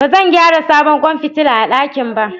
Ba zan gyara sabon kwan fitila a dakin ba